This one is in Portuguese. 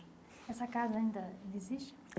Essa casa ainda ainda existe?